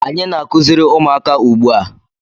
Anyị na-akụziri ụmụaka ugbu a.